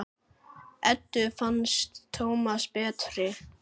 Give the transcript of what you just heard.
Eddu fannst Tómas betra.